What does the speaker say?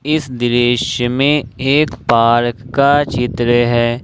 इस दृश्य में एक पार्क का चित्र है।